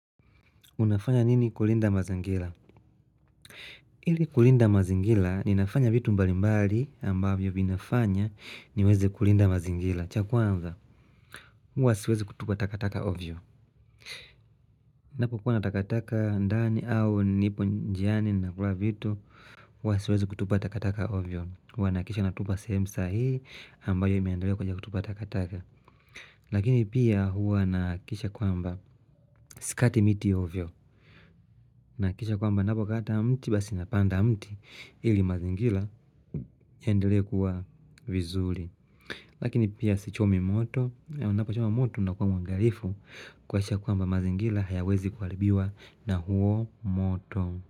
Unafanya nini kulinda mazingila? Ili kulinda mazingila ninafanya vitu mbali mbali ambavyo vinafanya niweze kulinda mazingila. Chakwanza. Huwa siwezi kutupa takataka ovyo. Napo kuwa natakataka ndani au nipo njiani na kula vitu. Huwa siweze kutupa takataka ovyo. Huwa naakisha natupa sehemu sahii ambayo imeandaliwa kwenye kutupa takataka. Lakini pia huwa naakisha kwamba. Sikati miti ovyo. Nakisha kwamba napo kata mti basi napanda mti. Ili mazingila yaendele kuwa vizuli. Lakini pia si chomi moto. Ya unapachoma moto na kuwa mwangarifu kwaisha kwamba mazingila hayawezi kuaribiwa na huo moto.